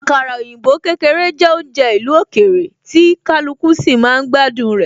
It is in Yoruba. Àkàrà òyìnbó kékeré jẹ́ oúnjẹ ìlú òkèèrè, tí kaluku sì máa ń gbádùn rẹ